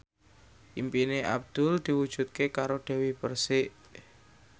impine Abdul diwujudke karo Dewi Persik